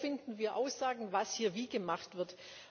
Wo finden wir Aussagen, was hier wie gemacht wird?